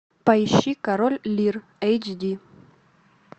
поищи король лир эйч ди